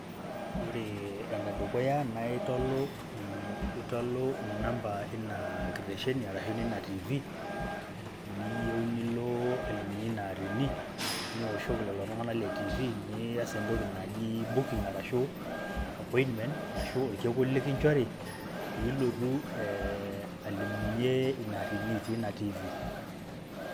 Ore enedukuya natolu itolu namba eina kitesheni arashu neina tv neyiu nilo alimunye ina atini , niwoshoki lelo tunganak le tv niyas entoki naji booking arashu appointment arashu orkekun likinchori pee ilotu eeh alimunye ina atini teina tv.